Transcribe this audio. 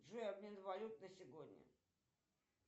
джой обмен валют на сегодня